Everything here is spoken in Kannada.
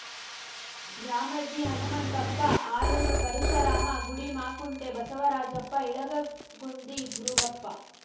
ದ್ಯಾಮಜ್ಜಿ ಹನುಮಂತಪ್ಪ ಆಲೂರು ಪರಶುರಾಮ ಗುಡಿಮಾಕುಂಟೆ ಬಸವರಾಜಪ್ಪ ಇಂಗಳಗಗುಂದಿ ದುರುಗಪ್ಪ